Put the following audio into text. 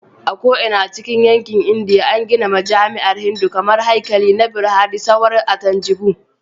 A ko'ina cikin yankin Indiya, an gina majami'an Hindu kamar Haikali na Brihadeeswarar a Thanjavur.